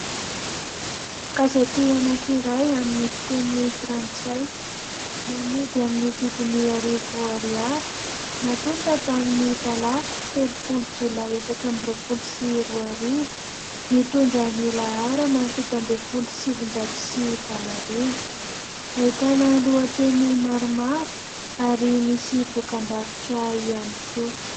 Gazety anankiray amin'ny fiteny frantsay, namidy amin'ny vidiny arivo ariary ; natonta tamin'ny talata telopolo jolay, efatra amby roapolo sy roa arivo ; mitondra ny laharana fito ambin'ny folo sy sivinjato sy valo arivo ; ahitana lohateny maromaro ary misy dokam-barotra ihany koa.